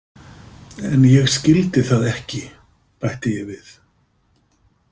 En ég skildi það ekki, bætti ég við.